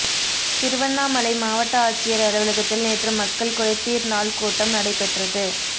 திருவண்ணாமலை மாவட்ட ஆட்சியர் அலுவலகத்தில் நேற்று மக்கள் குறைதீர் நாள் கூட்டம் நடைப்பெற்றது